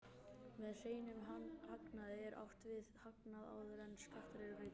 Með hreinum hagnaði er átt við hagnað áður en skattar eru greiddir.